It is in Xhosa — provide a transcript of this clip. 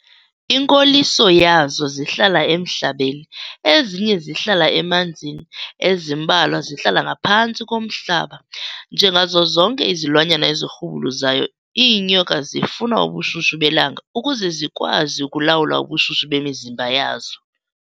Inkoliso yazo zihlala emhlabeni, ezinye zihlala emanzini, ezimbalwa zihlala ngaphantsi komhlaba. Njengazo zonke izilwanyana ezirhubuluzayo, iinyoka zifuna ubushushu belanga ukuze zikwazi ukulawula ubushushu bemizimba yazo.